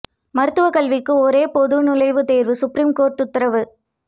மருத்துவ கல்விக்கு ஒரே பொது நுழைவுத் தேர்வு சுப்ரீம் கோர்ட் உத்தரவு